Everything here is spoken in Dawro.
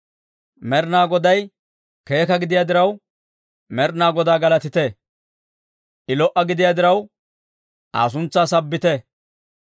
Med'inaa Goday keeka gidiyaa diraw, Med'inaa Godaa galatite! I lo"a gidiyaa diraw, Aa suntsaa sabbite!